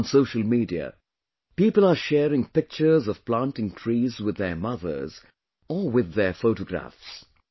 On social media, People are sharing pictures of planting trees with their mothers or with their photographs